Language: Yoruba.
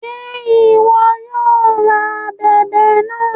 Ṣe iwọ yóò rá ábèbè náà?